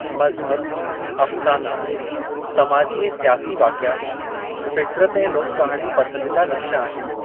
मज़हब, अफ़साना, समाजी ऐं स्यासी वाक़िआ, फ़ितरत ऐं लोक कहाणियूं पसंदीदा नक़्शा आहिनि।